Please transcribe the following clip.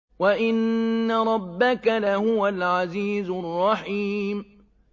وَإِنَّ رَبَّكَ لَهُوَ الْعَزِيزُ الرَّحِيمُ